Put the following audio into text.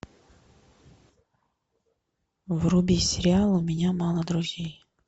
вруби сериал у меня мало друзей